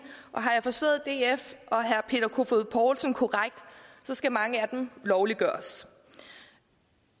og har jeg forstået df og herre peter kofod poulsen korrekt skal mange af dem lovliggøres